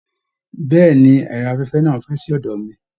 Bẹ̀ẹ́ni, ẹrọ afẹfẹ náà n fẹ sí ọdọ mí.